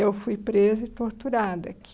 Eu fui presa e torturada aqui.